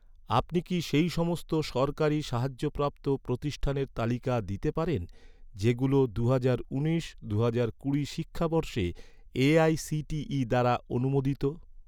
আপনি কি সেই সমস্ত সরকারি সাহায্যপ্রাপ্ত প্রতিষ্ঠানের তালিকা দিতে পারেন, যেগুলো দুহাজার উনিশ দুহাজার কুড়ি শিক্ষাবর্ষে এ.আই.সি.টি.ই দ্বারা অনুমোদিত?